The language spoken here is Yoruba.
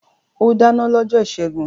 O dáná lọ́jọ́ ìṣẹ́gun.